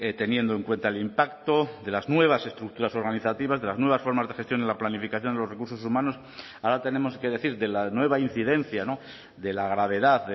teniendo en cuenta el impacto de las nuevas estructuras organizativas de las nuevas formas de gestión en la planificación de los recursos humanos ahora tenemos que decir de la nueva incidencia de la gravedad